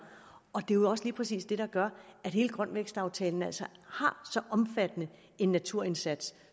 og det er jo også lige præcis det der gør at hele grøn vækst aftalen altså har så omfattende en naturindsats